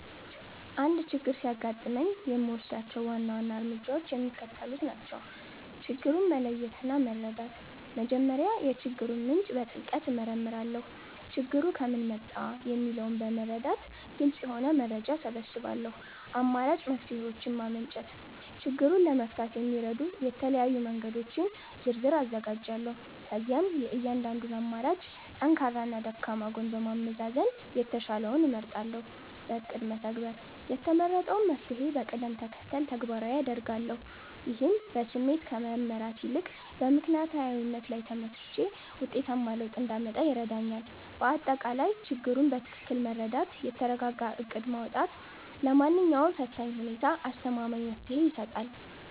አንድ ችግር ሲያጋጥመኝ የምወስዳቸው ዋና ዋና እርምጃዎች የሚከተሉት ናቸው፦ ችግሩን መለየትና መረዳት፦ መጀመሪያ የችግሩን ምንጭ በጥልቀት እመረምራለሁ። ችግሩ ከምን መጣ? የሚለውን በመረዳት ግልጽ የሆነ መረጃ እሰበስባለሁ። አማራጭ መፍትሔዎችን ማመንጨት፦ ችግሩን ለመፍታት የሚረዱ የተለያዩ መንገዶችን ዝርዝር አዘጋጃለሁ። ከዚያም የእያንዳንዱን አማራጭ ጠንካራና ደካማ ጎን በማመዛዘን የተሻለውን እመርጣለሁ። በእቅድ መተግበር፦ የተመረጠውን መፍትሔ በቅደም ተከተል ተግባራዊ አደርጋለሁ። ይህም በስሜት ከመመራት ይልቅ በምክንያታዊነት ላይ ተመስርቼ ውጤታማ ለውጥ እንዳመጣ ይረዳኛል። ባጠቃላይ፣ ችግሩን በትክክል መረዳትና የተረጋጋ እቅድ ማውጣት ለማንኛውም ፈታኝ ሁኔታ አስተማማኝ መፍትሔ ይሰጣል።